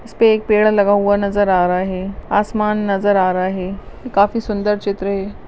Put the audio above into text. इसपे एक पेड़ लगा हुआ नज़र आ रहा है आसमान नज़र आ रहा है काफी सुन्दर चित्र है ये।